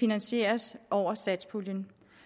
finansieres over satspuljen